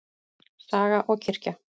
Saga og kirkja.